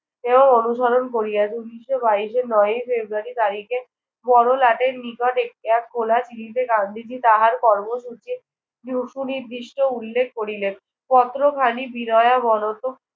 এও অনুসরণ করিয়াছে। উনিশশো বাইশের নয়ই ফেব্রুয়ারি তারিখে বড়লাটের নিকট গান্ধীজি তাহার কর্মসূচি সুনির্দিষ্ট উল্লেখ করিলেন। পত্রখানি বিনয়াবনত